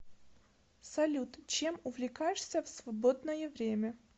салют чем увлекаешься в свободное время